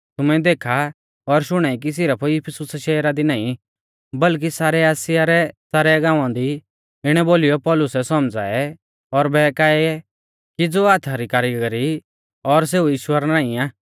तुमै देखा और शुणाई कि सिरफ इफिसुसा शहरा दी नाईं बल्कि सारै आसिया रै सारै गांवा दी इणै बोलीयौ पौलुसै सौमझ़ाऐ और बहकाऐ कि ज़ो हाथा री कारिगरी आ सेऊ ईश्वर नाईं आ